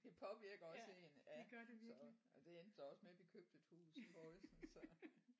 Det påvirker også én ja så ja det endte så også med vi købte et hus i Horsens så